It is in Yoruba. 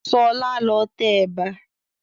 Ṣọlá ló tẹ ẹ̀bà